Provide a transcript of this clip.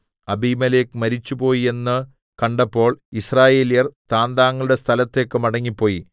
അബീമേലെക്ക് മരിച്ചുപോയി എന്ന് കണ്ടപ്പോൾ യിസ്രായേല്യർ താന്താങ്ങളുടെ സ്ഥലത്തേക്ക് മടങ്ങിപ്പോയി